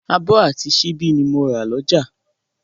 Abọ́ àti síbí ni mo rà lọ́jà